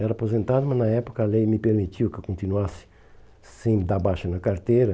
Era aposentado, mas na época a lei me permitiu que eu continuasse sem dar baixa na carteira.